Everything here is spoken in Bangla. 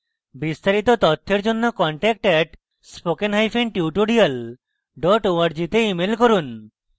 বিস্তারিত তথ্যের জন্য contact @spokentutorial org তে ইমেল করুন